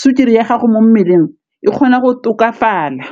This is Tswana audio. sukiri ya gago mo mmeleng e kgona go tokafala.